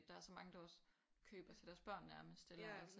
Der er så mange der også køber til deres børn nærmest eller altså